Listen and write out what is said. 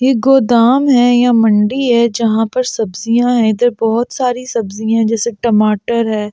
ये गोदाम है या मंडी है जहां पर सब्जियां है इधर बहुत सारी सब्जियां है जैसे टमाटर है।